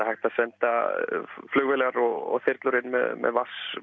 hægt að senda flugvélar og þyrlur inn með